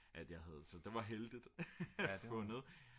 at jeg havde så det var heldigt fundet